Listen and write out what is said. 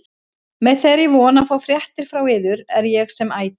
Með þeirri von að fá fréttir frá yður er ég sem ætíð